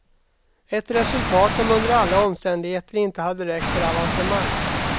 Ett resultat som under alla omständigheter inte hade räckt för avancemang.